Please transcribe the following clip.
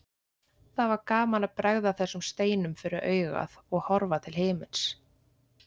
Það var gaman að bregða þessum steinum fyrir augað og horfa til himins.